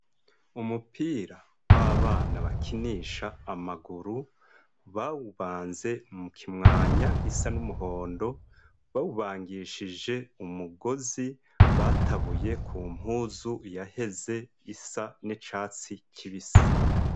Umupira w'abana bakinisha amaguru bawubanze mu kimwanya g'isa n'umuhondo. Bawubangishije umugozi batabuye ku mpuzu yaheze isa n'icatsi kibisi.